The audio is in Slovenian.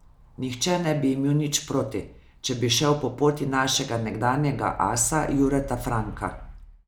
Nihče ne bi imel nič proti, če bi šel po poti našega nekdanjega asa Jureta Franka.